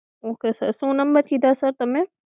one eight